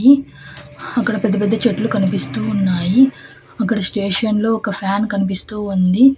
ఇ అక్కడ పెద్ద పెద్ద చెట్లు కనిపిస్తూ ఉన్నాయి అక్కడ స్టేషన్లో ఒక ఫ్యాన్ కనిపిస్తూ ఉంది.